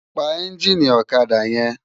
Pá ènjini òkadá yèn